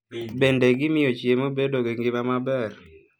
Bende, gimiyo chiemo bedo gi ngima maber.